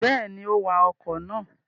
Bẹ́ẹ̀ni, ó wa ọkọ̀ náà.